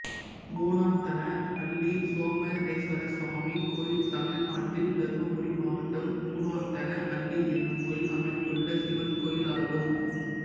பூனாத்தன அள்ளி சோமேஸ்வரசாமி கோயில் தமிழ்நாட்டில் தர்மபுரி மாவட்டம் பூனாத்தன அள்ளி என்னும் ஊரில் அமைந்துள்ள சிவன் கோயிலாகும்